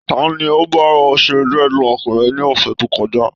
Ta ni ó bá ọ ṣe dreadlock rẹ ní ọ̀sẹ̀ tó kọjá?